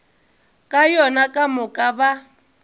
ka yona ka moka ba